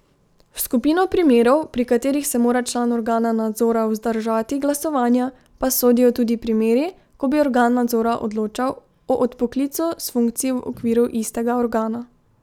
V skupino primerov, pri katerih se mora član organa nadzora vzdržati glasovanja, pa sodijo tudi primeri, ko bi organ nadzora odločal o odpoklicu s funkcij v okviru istega organa.